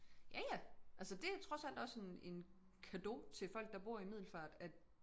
Ja ja altså det trods alt også en en cadeau til folk der bor i Middelfart at